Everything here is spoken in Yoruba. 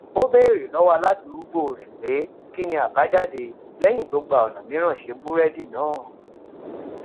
ó béèrè lówó aládùúgbò rè pé kí ni àbájáde léyìn tó gba ònà mìíràn ṣe búrédì náà